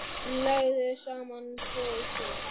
Leggðu saman tvo og tvo.